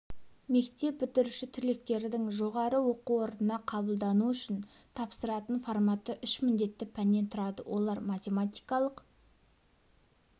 мектеп бітіруші түлектердің жоғары оқу орнына қабылдану үшін тапсыратын форматы үш міндетті пәннен тұрады олар математикалық